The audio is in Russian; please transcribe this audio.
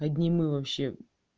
одни мы вообще